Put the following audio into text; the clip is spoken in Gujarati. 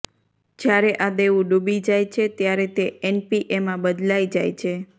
જ્યારે આ દેવું ડૂબી જાય છે ત્યારે તે એનપીએમાં બદલાઈ જાય છે